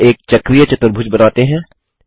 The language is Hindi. अब एक चक्रीय चतुर्भुज बनाते हैं